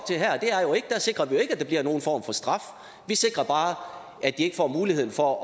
jeg sikrer vi jo ikke at der bliver nogen form for straf vi sikrer bare at de ikke får muligheden for at